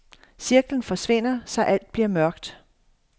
Cirklen forsvinder, så alt bliver mørkt.